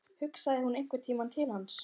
Hugsaði hún einhvern tímann til hans?